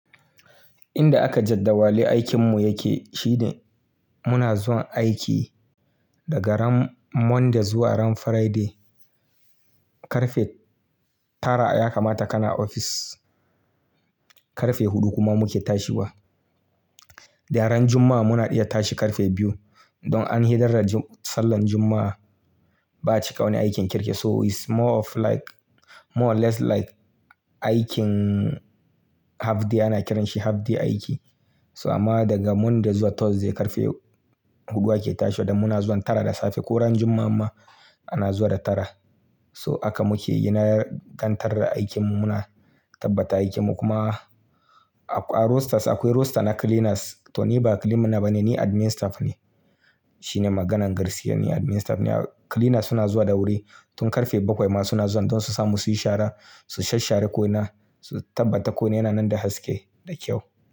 Inda aka jadawale aikin mu yake shine muna zuwa aiki daga ran Monday zuwa ran Friday. Karfe tara ya kamata ka na ofis. Karfe hudu kuma muke tashiwa. Da ran Juma'a muna iya tashi karfe biyu don an hidar da sallan Juma'a. Ba cika wani aikin kirki so is more of like more or less like aikin half day ana kiranshi half day aiki. So amma daga Monday zuwa Thursday karfe hudu ake tashi don muna zuwa tara da safe. Ko ran Juma'a ma ana zuwa da tara. So haka muke gina gandar aikin mu muna tabbata aikin mu kuma a rosters akwai roster na cleaners. To ni ba cleaner bane ni admin staff ne. Shine maganar gaskiya ni admin staff ne. Cleaners suna zuwa da wuri tun karfe bakwai ma suna zuwa don su samu su yi shara, su shasshare ko na su tabbata ko yana nan da haske da kyau.